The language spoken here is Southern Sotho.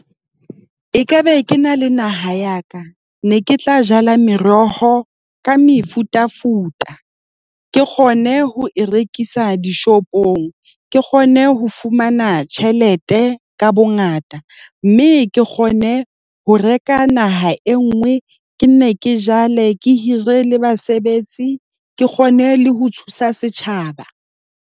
Ekabe ke na le naha ya ka, ne ke tla jala meroho ka mefutafuta. Ke kgone ho e rekisa dishopong, ke kgone ho fumana tjhelete ka bongata, mme ke kgone ho reka naha e nngwe. Ke nne ke jale ke hire le basebetsi ke kgone le ho thusa setjhaba.